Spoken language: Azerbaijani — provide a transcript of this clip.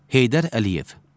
Heydər Əliyev.